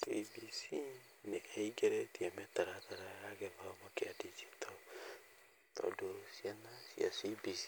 CBC nĩ ĩingĩrĩtie mĩtaratara ya gĩthomo kĩa ndinjito tondũ ciana cia CBC